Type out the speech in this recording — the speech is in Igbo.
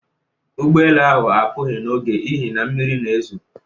Ụgbọelu ahụ apụghị n'oge n'ihi na mmiri na-ezo